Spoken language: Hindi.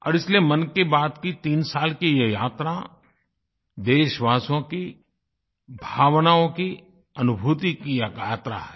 और इसलिए मन की बात की तीन साल की ये यात्रा देशवासियों की भावनाओं की अनुभूति की एक यात्रा है